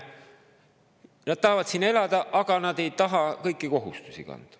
Nad tahavad siin elada, aga nad ei taha kõiki kohustusi kanda.